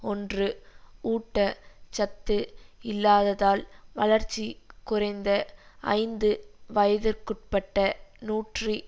ஒன்று ஊட்ட சத்து இல்லாததால் வளர்ச்சி குறைந்த ஐந்து வயதிற்குட்பட்ட நூற்றி